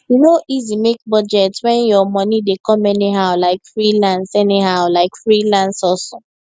e no easy make budget when your money dey come anyhow like freelance anyhow like freelance hustle